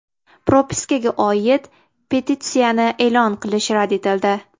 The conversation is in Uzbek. Propiskaga oid petitsiyani e’lon qilish rad etildi.